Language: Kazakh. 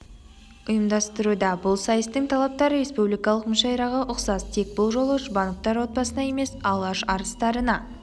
ұйымдастыруда бұл сайыстың талаптары республикалық мүшәйраға ұқсас тек бұл жолы жұбановтар отбасына емес алаш арыстарына